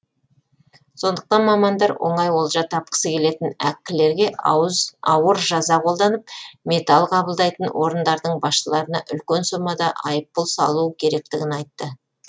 сондықтан мамандар оңай олжа тапқысы келетін әккілерге ауыр жаза қолданып металл қабылдайтын орындардың басшыларына үлкен сомада айыппұл салу керектігін айтты